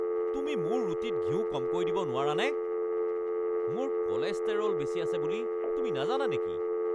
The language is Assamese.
তুমি মোৰ ৰুটীত ঘিউ কমকৈ দিব নোৱাৰানে? মোৰ কলেষ্টেৰল বেছি আছে বুলি তুমি নাজানা নেকি?